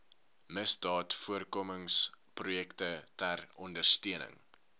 misdaadvoorkomingsprojekte ter ondersteuning